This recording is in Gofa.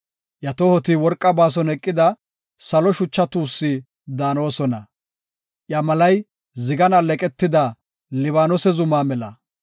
Iya tohoti worqa baason eqida salo shucha tuussi daanosona; iya malay zigan alleeqetida Libaanose zuma mela.